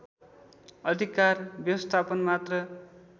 अधिकार व्यवस्थापन मात्र